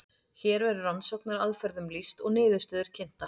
hér verður rannsóknaraðferðum lýst og niðurstöður kynntar